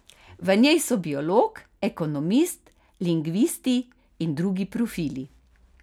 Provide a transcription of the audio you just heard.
V njej so biolog, ekonomist, lingvisti in drugi profili.